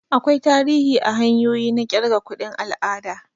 Akwai tarihi a hanyoyi na kirga kuɗin al'ada.